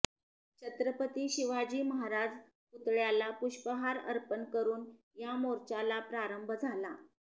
छत्रपती शिवाजीमहाराज पुतळ्याला पुष्पहार अर्पण करून या मोर्चाला प्रारंभ झाला